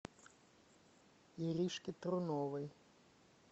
иришке труновой